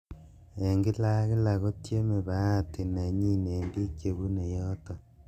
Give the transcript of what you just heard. "En kila ak kila, kotieme bahati nenyin en bik chebune yoton.''